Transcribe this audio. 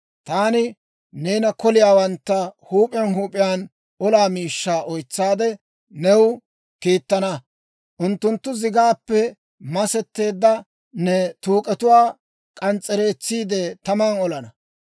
Taani neena koliyaawantta huup'iyaan huup'iyaan olaa miishshaa oytsaade, new kiittana. Unttunttu zigaappe masetteedda ne tuuk'etuwaa k'ans's'ereetsiide, taman olana.